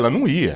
Ela não ia.